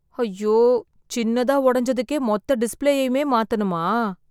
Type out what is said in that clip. ஐயோ ! சின்னதா உடைஞ்சதுக்கே, மொத்த டிஸ்ப்ளேயுமே மாத்தணுமா ?